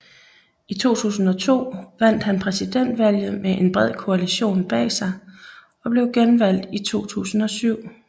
I 2002 vandt han præsidentvalget med en bred koalition bag sig og blev genvalgt i 2007